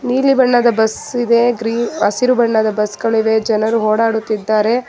ನೀಲಿ ಬಣ್ಣದ ಬಸ್ ಇದೆ ಗ್ರಿ ಹಸಿರು ಬಣ್ಣದ ಬಸ್ ಗಳಿವೆ ಜನರು ಓಡಾಡುತ್ತಿದ್ದಾರೆ.